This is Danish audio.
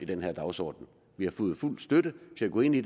den her dagsorden vi har fået fuld støtte til at gå ind i